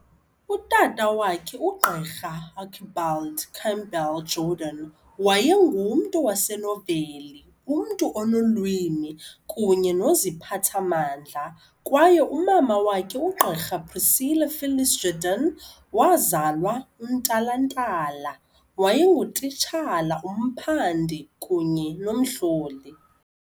Utata wakhe, uGqr Archibald Campbell Jordan, wayengumntu wasenoveli, umntu onolwimi kunye noziphathamandla kwaye umama wakhe, uGqirha Priscilla Phyllis Jordan, wazalwa, uNtantala, wayengutitshala, umphandi kunye nomhloli.